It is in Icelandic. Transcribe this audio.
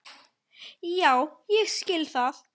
Já ég skil það.